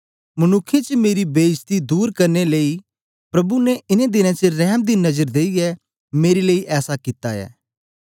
मनुक्खें च मेरी बेईजती दूर करने लेई प्रभु ने इनें दिनें च रैम दी नजर देईयै मेरे लेई ऐसा कित्ता ऐ